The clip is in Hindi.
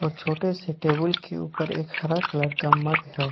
ओर छोटे से टेबूल के ऊपर एक हरा कलर का मग है।